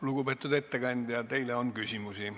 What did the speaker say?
Lugupeetud ettekandja, teile on küsimusi.